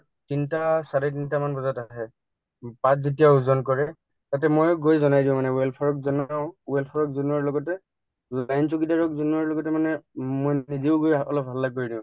তিনটা চাৰে তিনটামান বজাত আহে উম পাত যেতিয়া ওজন কৰে তাতে মই গৈ জনাই দিওঁ মানে welfare ক জনাওঁ welfare ক জনোৱাৰ লগতে চকীদাৰক জনোৱাৰ লগতে মানে উম মই নিজেও গৈ আ অলপ হাল্লা কৰি দিওঁ